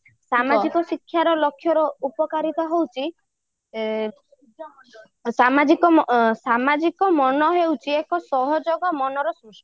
ସାମାଜିକ ଶିକ୍ଷାର ଉପକାରିତା ହଉଛି ସାମାଜିକ ସାମାଜିକ ମନ ହଉଛି ଏକ ସହଯୋଗ ମନର ସୃଷ୍ଟି